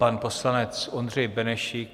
Pan poslanec Ondřej Benešík.